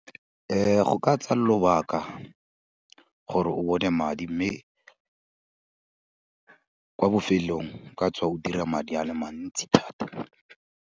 Go ka tsaya lobaka gore o bone madi mme, kwa bofelong ka tswa o dira madi a le mantsi thata.